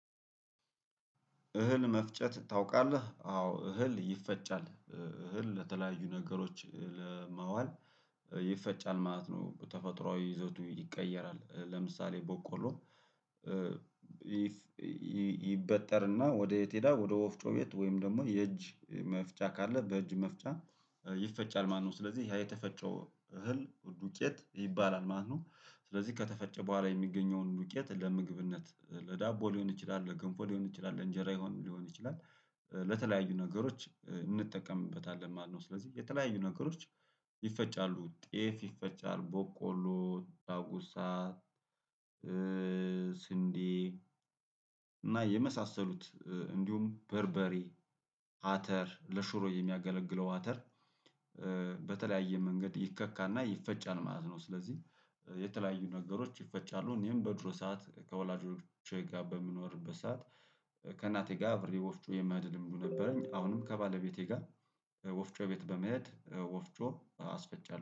እህል መፍጨት ታውቃለህ አዎ እህል ይፈጫል እህል ለተለያዩ ነገሮች ለማዋል ይፈጫል ማለት ነው። ተፈጥሮአዊ ይዘቱ ይቀየራል ለምሳሌ ቦቆሎ። ይበጠርና ወዴት ይሄዳል ወደ ወፍጮ ቤት ወይም ደግሞ የእጅ መፍጫ ካለ በእጅ መፍጫ ይፈጫል ማለት ነው። ስለዚህ ያ የተፈጨው እህል ዱቄት ይባላል ማህኖ። ስለዚህ ከተፈጨ በኋላ የሚገኘውን ዱቄት ለምግብነት ለዳቦ ሊሆን ይችላል ለገንፎ ሊሆን ይችላል ለእንጀራ ሊሆን ሊሆን ይችላል። በተለያዩ ነገሮች እንጠቀምበታለን። ማነው ስለዚህ የተለያዩ ነገሮች ይፈጫሉ። ጤፍ ይፈጫል ቦቆሎ ዳጉሳ ስንዴ እና የመሳሰሉት እንዲሁም በርበሬ አተር ለሹሮ የሚያገለግለው አተር። በተለያየ መንገድ ይከካና ይፈጫል ማለት ነው። ስለዚህ የተለያዩ ነገሮች ይፈጫሉ እኔም በድሮ ሰዓት ከወላጆቼ ጋር በምኖርበት ሰዓት። ከእናቴ ጋር አብሬ ወፍጮ የማድንም ሁሉ ነበረኝ። አሁንም ከባለቤቴ ጋር ወፍጮ ቤት በመሄድ ወፍጮ አስፈጫለሁ